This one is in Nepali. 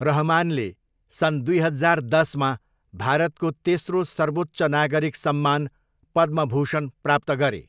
रहमानले सन् दुई हजार दसमा भारतको तेस्रो सर्वोच्च नागरिक सम्मान पद्मभूषण प्राप्त गरे।